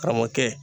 Karamɔgɔkɛ